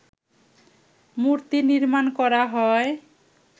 মূর্তি নির্মাণ করা হয়